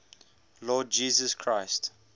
lord jesus christ